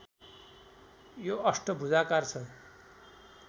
यो अष्टभुजाकार छ